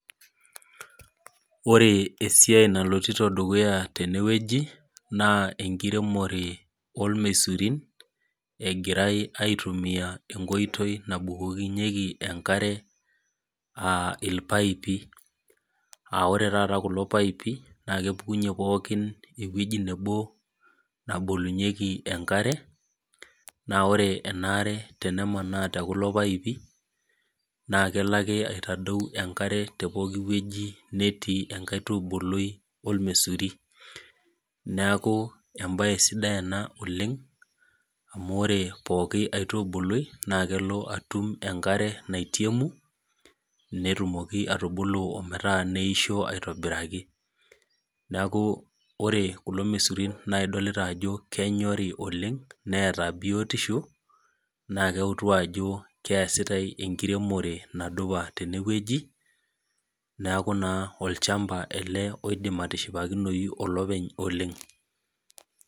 Ore esiai nalotito dukuya tenewueji, naa enkiremore ormesurin, egirai aitumia enkoitoi nabukokinyeki enkare ah irpaipi. Ore taata kulo paipi, na kepukunye pookin ewueji nebo nabolunyeki enkare, na ore enaare tenemanaa tekulo paipi, naa kelo ake aitadou enkare te pooki wueji netii enkaitubului ormesuri. Neeku ebae sidai ena oleng, amu ore pooki aitubului, na kelo atum enkare naitemu, netumoki atubulu metaa neishoo aitobiraki. Neeku ore kulo mesurin na idolita ajo kenyori oleng, neeta biotisho, na keutu ajo keesitai enkiremore nadupa tenewueji, neeku naa olchamba ele oidim atishipakinoyu olopeny oleng.